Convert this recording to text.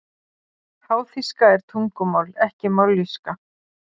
Háþýska er tungumál ekki mállýska.